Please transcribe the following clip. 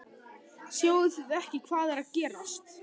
Sjáið þið ekki hvað er að gerast!